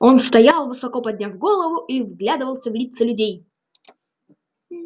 он стоял высоко подняв голову и вглядывался в лица людей